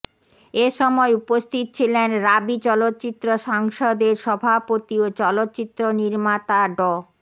এ সময় উপস্থিত ছিলেন রাবি চলচ্চিত্র সংসদের সভাপতি ও চলচ্চিত্রনির্মাতা ড